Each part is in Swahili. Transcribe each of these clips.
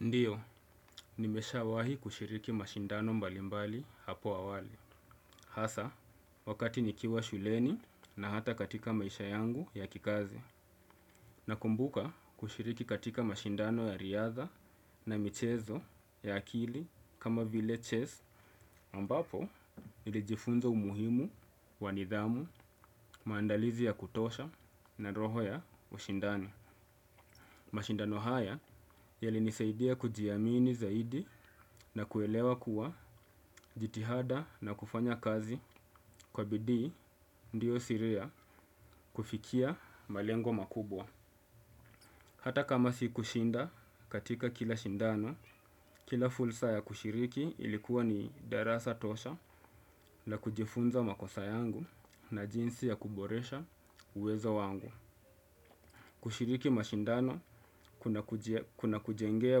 Ndiyo, nimeshawahi kushiriki mashindano mbalimbali hapo awali. Hasa, wakati nikiwa shuleni na hata katika maisha yangu ya kikazi. Nakumbuka kushiriki katika mashindano ya riadha na michezo ya akili kama vile chess. Ambapo, nilijifunza umuhimu wa nidhamu, maandalizi ya kutosha na roho ya ushindani. Mashindano haya yalinisaidia kujiamini zaidi na kuelewa kuwa jitihada na kufanya kazi kwa bidii ndiyo siri ya kufikia malengo makubwa. Hata kama si kushinda katika kila shindano, kila fulsa ya kushiriki ilikuwa ni darasa tosha la kujifunza makosa yangu na jinsi ya kuboresha uwezo wangu. Kushiriki mashindano kunakujengea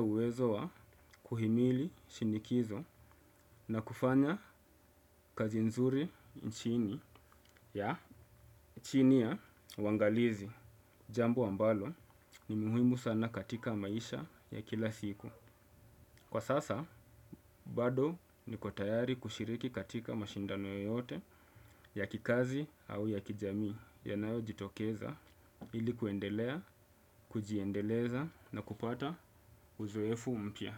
uwezo wa kuhimili shinikizo na kufanya kazi nzuri nchini ya chini ya uangalizi jambo ambalo ni muhimu sana katika maisha ya kila siku. Kwa sasa, bado niko tayari kushiriki katika mashindano yoyote ya kikazi au ya kijamii yanayojitokeza ili kuendelea, kujiendeleza na kupata uzoefu mpya.